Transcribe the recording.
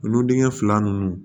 Olu dingɛn fila ninnu